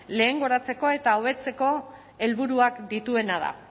lehengoratzeko eta hobetzeko helburuak dituena da